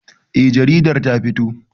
Eh jaridar ta fito.